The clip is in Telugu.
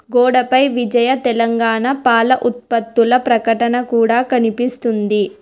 గోడపై విజయ తెలంగాణ పాల ఉత్పత్తుల ప్రకటన కూడా కనిపిస్తుంది.